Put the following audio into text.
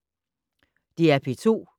DR P2